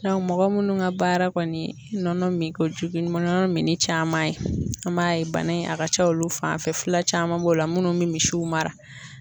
mɔgɔ munnu ka baara kɔni nɔnɔ minkojugu ye ni nɔnɔ mini caman ye an b'a ye bana in a ka ca olu fan fɛ fila caman b'o la minnu bɛ misiw mara.